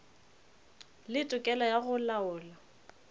le tokelo ya go laola